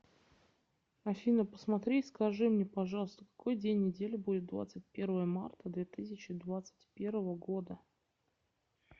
афина посмотри и скажи мне пожалуйста какой день недели будет двадцать первое марта две тысячи двадцать первого года